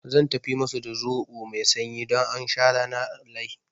Zan tafi musu da zoɓo mai sanyi don aun sha rana wallahi